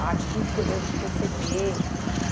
a atitude que eu devo proceder.